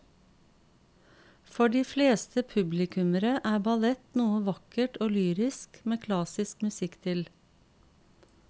For de fleste publikummere er ballett noe vakkert og lyrisk med klassisk musikk til.